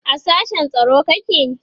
a sashen tsaro kake?